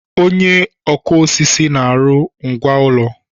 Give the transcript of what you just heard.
Onye ọkụ osisi na-arụ ngwá ụlọ.